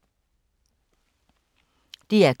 DR K